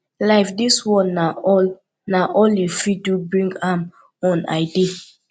life dis one na all na all you fit do bring am on i dey